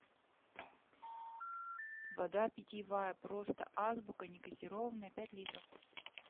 вода питьевая просто азбука негазированная пять литров